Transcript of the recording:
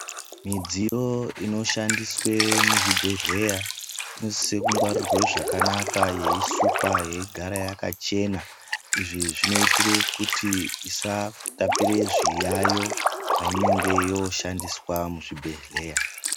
Midziyo inoshandiswe muzvibhedhlera inosise kungwarirwe zvakanaka yeisukwa yeigara yakachena izvi zvinoitire kuti isatapire zviyayo painenge yoshandiswe muzvibhedhlera